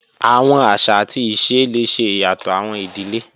Awọn aṣa ati ise le ṣe iyatọ awọn idile